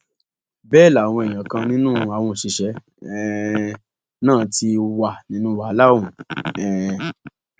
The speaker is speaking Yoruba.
bẹẹ làwọn èèyàn kan nínú àwọn òṣìṣẹ um náà ti wà nínú wàhálà ọhún um